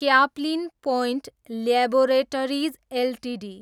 Caplin Point Laboratories Ltd